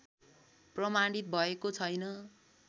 प्रमाणित भएको छैन